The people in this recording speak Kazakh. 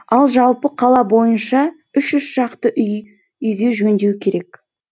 ал жалпы қала бойынша үш жүз шақты үйге жөндеу керек